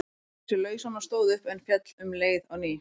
Reif sig lausan og stóð upp, en féll um leið á ný.